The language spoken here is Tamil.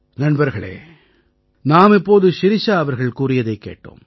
நண்பர்களே நாம் இப்போது ஷிரிஷா அவர்கள் கூறியதைக் கேட்டோம்